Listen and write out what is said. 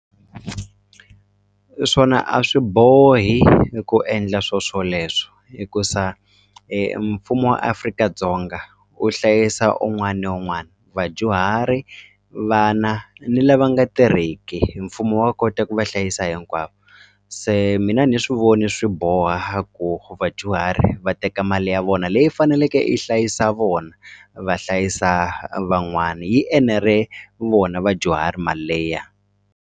Swona a swi bohi i ku endla swo swoleswo hikuaa mfumo wa Afrika-Dzonga u hlayisa un'wani ni un'wani vadyuhari vana ni lava nga tirheki mfumo wa kota ku va hlayisa hinkwavo se mina a ni swi vona swi boha ku vadyuhari va teka mali ya vona leyi faneleke yi hlayisa vona va hlayisa van'wani yi enere vona vadyuhari mali leya.